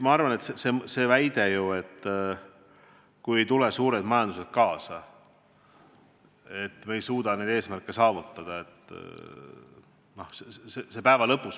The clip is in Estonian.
Ma arvan, et see väide, et kui ei tule suured majandused kaasa, siis me ei suuda neid eesmärke saavutada, on õige.